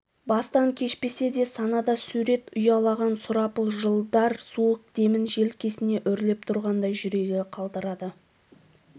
бастан кешпесе де санада сурет ұялаған сұрапыл жылдар суық демін желкесіне үрлеп тұрғандай жүрегі қалтырады